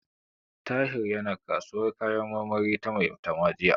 Tahir yana kasuwar kayan marmari ta Maitama jiya.